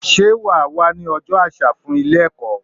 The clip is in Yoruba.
Sé wà á wá ní ojó àsà fún Ilé èkó?